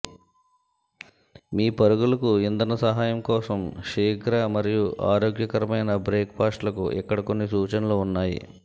మీ పరుగులకు ఇంధన సహాయం కోసం శీఘ్ర మరియు ఆరోగ్యకరమైన బ్రేక్ పాస్ట్లకు ఇక్కడ కొన్ని సూచనలు ఉన్నాయి